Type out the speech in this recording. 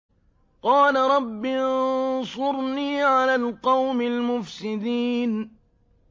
قَالَ رَبِّ انصُرْنِي عَلَى الْقَوْمِ الْمُفْسِدِينَ